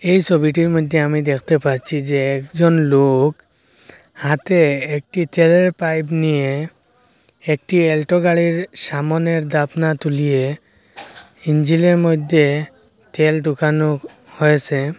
এই সবিটির মধ্যে আমি দেখতে পাচ্ছি যে একজন লোক হাতে একটি তেলের পাইপ নিয়ে একটি অ্যাল্টো গাড়ির সামোনের দাপনা তুলিয়ে ইঞ্জিলের মইধ্যে তেল ডুকানো হয়েসে।